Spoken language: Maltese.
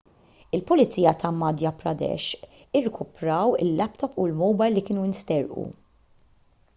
il-pulizija ta' madhya pradesh irkupraw il-laptop u l-mowbajl li kienu nsterqu